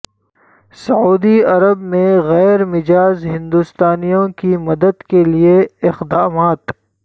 سعودی عرب میں غیرمجاز ہندوستانیوں کی مدد کے لیے اقدامات